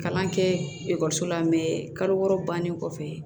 Kalan kɛ ekɔliso la kalo wɔɔrɔ bannen kɔfɛ